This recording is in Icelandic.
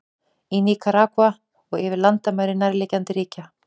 Í Níkaragva og yfir landamæri nærliggjandi ríkja.